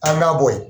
An b'a bɔ yen